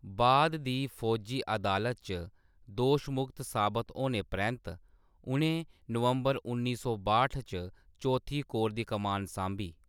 बाद दी फौजी अदालत च दोशमुक्त साबत होने परैंत्त, उ'नें नवंबर उन्नी सौ बाह्ट च चौथी कोर दी कमान सांभी।